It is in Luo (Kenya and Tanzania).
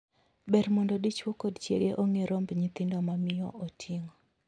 Ber mondo dichwo kod chiege ong'e romb nyithindo ma miyo oting'o.